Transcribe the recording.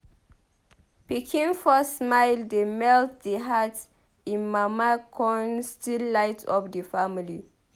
Pikin first smile dey melt di heart im mama con still light up di family.